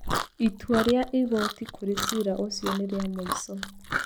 Itwa rĩa igoti kũrĩ cira ũcio nĩ rĩa mũico.